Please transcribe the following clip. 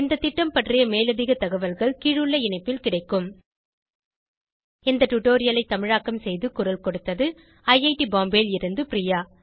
இந்த திட்டம் பற்றி மேலதிக தகவல்கள் கீழுள்ள இணைப்பில் கிடைக்கும் இந்த டுடோரியலை தமிழாக்கம் செய்து குரல் கொடுத்தது ஐஐடி பாம்பேவில் இருந்து பிரியா